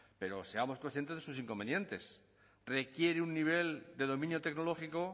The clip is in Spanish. pero seamos conscientes de sus inconvenientes requiere un nivel de dominio tecnológico